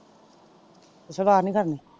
ਸਲਵਾਰ ਨਿ ਕਰਨੀ?